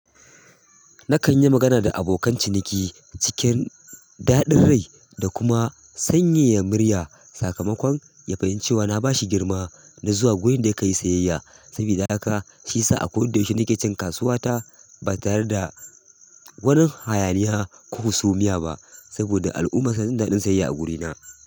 Na kan yi magana da abokan ciniki cikin daɗin rai da kuma sanyaya murya. Sakamakon ya fahimci cewa na ba shi girma na zuwa wurin da ya kai sayayya. Sabida haka shi sa a kowane daushe nake can kasuwa ta ba tare da wani hayaniya ko husumiya ba. Saboda al'umma su dinga jin daɗin siyayya agurina.